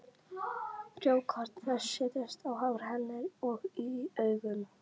Frjókorn þess setjast á hár hennar og í augun.